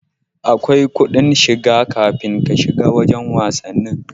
Akwai kudin shiga kafin ka shiga wajan wasanni